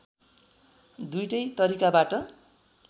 दुईटै तरिकाबाट